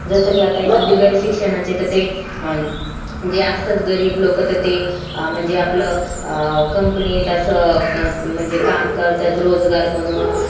जसं कि आता बिगर शिक्षणाचे ते जे असतात गरीब लोक ते म्हणजे आपलं ते अं company असं अं काम करतात रोजगार म्हणून